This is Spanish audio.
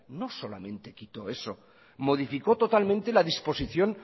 no solamente quitó eso modificó totalmente la disposición